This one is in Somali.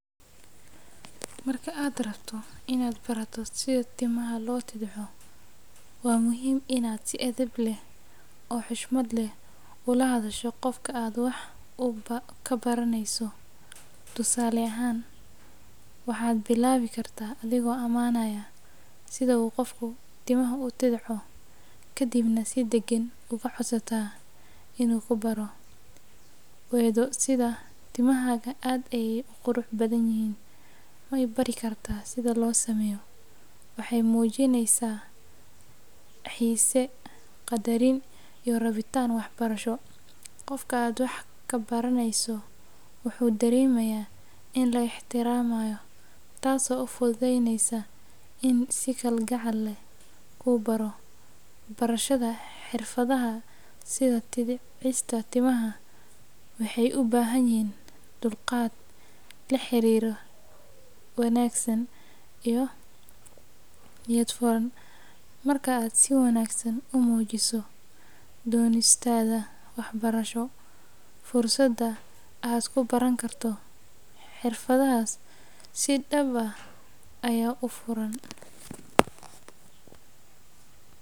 Marka aad rabto in aad barato sida timaha loo timo ama loo tidhco, waa muhiim in aad si edeb leh oo xushmad leh ula hadasho qofka aad wax ka baranayso. Tusaale ahaan, waxaad bilaabi kartaa adigoo amaanaya sida uu qofku timaha u tidhco, kadibna si deggan uga codsata in uu ku baro. Weedho sida “Timahaaga aad ayey u qurux badan yihiin, ma i baran kartaa sidaa loo sameeyo?” waxay muujinayaan xiise, qadarin, iyo rabitaan waxbarasho. Qofka aad wax ka baranayso wuxuu dareemayaa in la ixtiraamayo, taasoo u fududeynaysa inuu si kalgacal leh kuu baro. Barashada xirfadaha sida tidhcista timaha waxay u baahan yihiin dulqaad, la xiriir wanaagsan, iyo niyad furan. Marka aad si wanaagsan u muujiso doonistaada waxbarasho, fursadda aad ku baran karto xirfaddaas si dhab ah ayaa u furan.